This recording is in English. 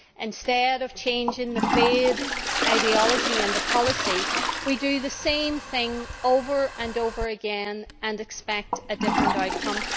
Instead of changing the failed ideology and the policy, we do the same thing over and over again and expect a different outcome.